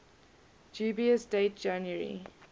dubious date january